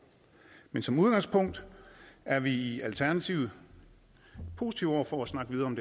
men som udgangspunkt er vi i alternativet positive over for at snakke videre om